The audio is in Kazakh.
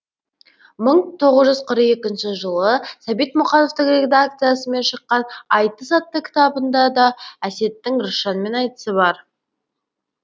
мың тоғыз жүз қырық екінші жылы сәбит мұқановтың редакциясымен шыққан айтыс атты кітабында да әсеттің рысжанмен айтысы бар